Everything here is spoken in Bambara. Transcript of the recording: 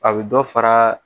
A bɛ dɔ fara